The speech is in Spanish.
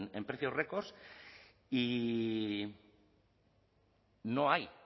en precios récord y no hay